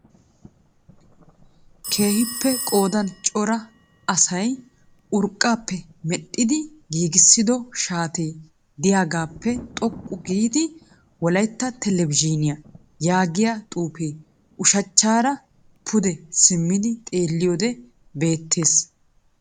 Keehippe qoodan cora asay urqqaappe medhdhidi giigissido shaatee de'iyagaappe xoqqu giidi Wolaytta televizhiiniya yaagiya xuufee ushshachchaara pude simmidi xeelliyode beettees.